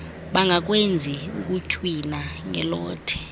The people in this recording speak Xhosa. bangakwenzi ukutywina ngelothe